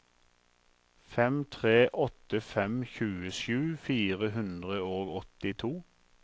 fem tre åtte fem tjuesju fire hundre og åttito